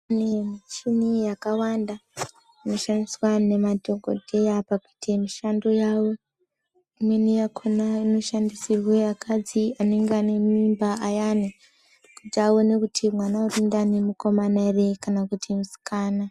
Michini yakawanda inoshandiswa nemadhokoteya pakuita mishando yavo imweni yakona inoshandisirwa akadzi anenge ane mimba ayani kuti aone kuti mwana ari mundani mukona here kana kuti musikana.